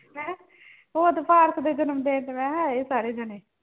ਮੈਂ ਕਿਹਾ ਉਹ ਤਾਂ ਭਾਰਤ ਦੇ ਜਨਮ ਦਿਨ ਤੇ ਮੈਂ ਕਿਹਾ ਆਏ ਸੀ ਸਾਰੇ ਜਾਣੇ।